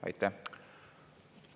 Aitäh!